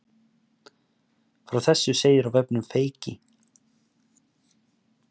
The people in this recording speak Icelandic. Frá þessu segir á vefnum Feyki